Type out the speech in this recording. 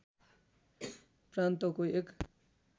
प्रान्तको एक